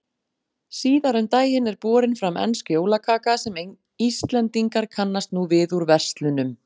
Síðar um daginn er borin fram ensk jólakaka sem Íslendingar kannast nú við úr verslunum.